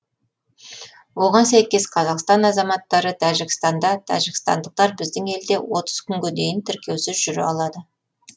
оған сәйкес қазақстан азаматтары тәжікстанда тәжікстандықтар біздің елде отыз күнге дейін тіркеусіз жүре алады